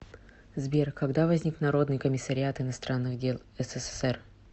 сбер когда возник народный комиссариат иностранных дел ссср